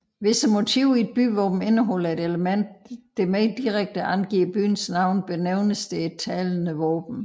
Hvis motivet i et byvåben indeholder et element der mere direkte angiver byens navn benævnes det et talende våben